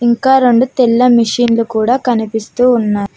ఇంకా రెండు తెల్ల మెషిన్లు కూడా కనిపిస్తూ ఉన్నా--